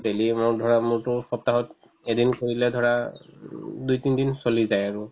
daily amount ধৰা মোৰতো সপ্তাহত এদিন কৰিলে ধৰা উম দুই তিন দিন চলি যায় আৰু